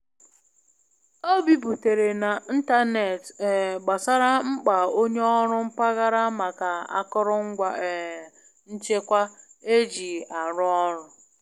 O biputere na ntanetị um gbasara mkpa onye ọrụ mpaghara maka akụrụngwa um nchekwa e ji a rụ ọrụ.